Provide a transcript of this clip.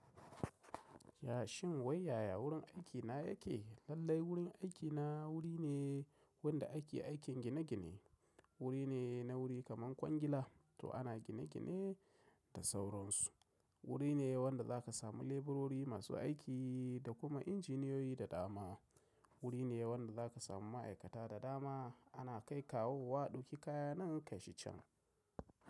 Ya shin wai yaya wurin aikina yake? Lallai wurin aikina wuri ne wanda ake aikin gine-gine. Wuri ne na wuri kaman kwangila, to ana gine-gine da sauransu. Wuri ne wanda za ka samu leburori masu aiki da kuma injiniyoyi da dama. Wuri ne wanda za ka samu ma'aikata da dama ana kai kawowa dauki kaya nan kai shi can.